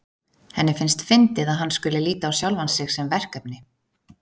Henni finnst fyndið að hann skuli líta á sjálfan sig sem verkefni.